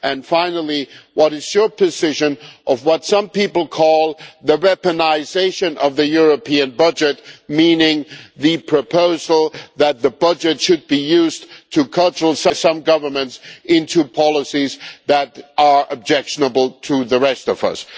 Finally, what is your position on what some people call the weaponisation' of the European budget, meaning the proposal that the budget should be used to cudgel some governments into policies that are objectionable to the rest of us?